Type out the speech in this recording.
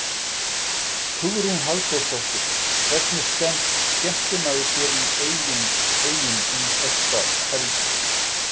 Hugrún Halldórsdóttir: Hvernig skemmtir maður sér í Eyjum um þessa helgi?